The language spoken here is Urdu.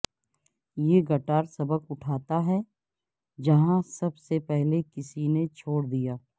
یہ گٹار سبق اٹھاتا ہے جہاں سب سے پہلے کسی نے چھوڑ دیا